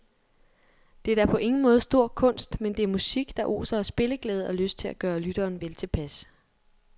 Det er på ingen måde stor kunst, men det er musik, der oser af spilleglæde og lyst til at gøre lytteren veltilpas.